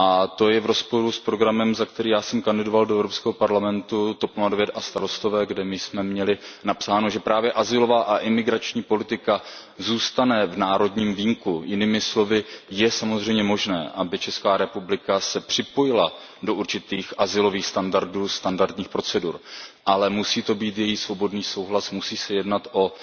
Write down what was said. To je v rozporu s programem, za který jsem kandidoval do EP, TOP 09 a Starostové, kde my jsme měli napsáno, že právě azylová a imigrační politika zůstane v národním vínku, jinými slovy, je samozřejmě možné, aby ČR se připojila do určitých azylových standardů, standarních procedur, ale musí to být její svobodný souhlas, musí se jednat o